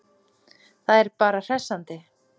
Það er bara hressandi.